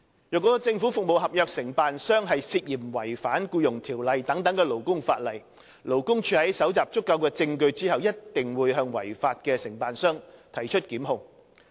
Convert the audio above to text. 若政府服務合約承辦商涉嫌違反《僱傭條例》等勞工法例，勞工處在搜集足夠證據後，必定會向違法的承辦商提出檢控。